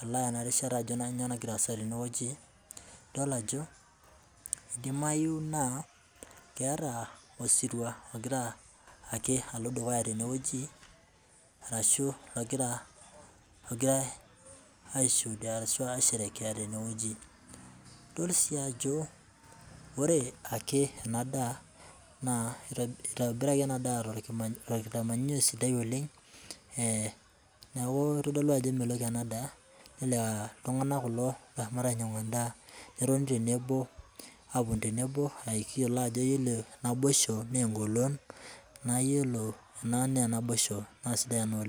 adol ana rishata ajo nyoo nagira aasa teine wueji idol ajo eidimaiyu naa keeta osirua ogira ake alo dukuya tenewueji arashu logira, ogirai aishuudia ashu aisherekea teneweji, idol si ajo ore ake enadaa naa eitobiraki enadaa te nkitanyanyuko sidai oleng, neaku eitodolu ajo emelok enadaa, naa ltungana kulo oshomo ainyang'u endaa netoni tenebo, aapo tenebo ayiolo ajo iyolo naibosho naa engolon, naa iyolo naa nena inaboisho naa sidai ina oleng.